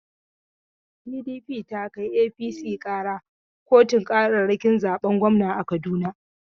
PDP ta kai APC ƙara kotun ƙararrakin zaben gwamna a Kaduna.